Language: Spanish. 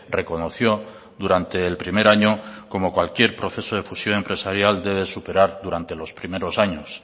reconoció durante el primer año como cualquier proceso de fusión empresarial debe superar durante los primeros años